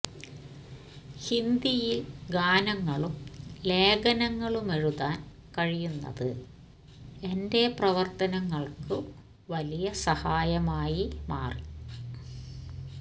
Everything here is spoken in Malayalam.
ഹിന്ദിയില് ഗാനങ്ങളും ലേഖനങ്ങളുമെഴുതാന് കഴിയുന്നത് എന്റെ പ്രവര്ത്തനങ്ങള്ക്കു വലിയ സഹായമായി മാറി